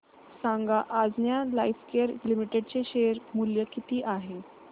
सांगा Anjaneya Lifecare Limited चे share मूल्य किती आहे